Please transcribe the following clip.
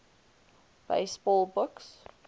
baseball books